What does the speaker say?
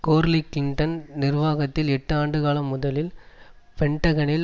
கோர்லிக் Clinton நிர்வாகத்தில் எட்டு ஆண்டு காலம் முதலில் பென்டகனில்